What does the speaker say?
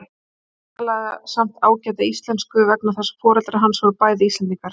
Hann talaði samt ágæta Íslensku vegna þess að foreldrar hans voru bæði Íslendingar.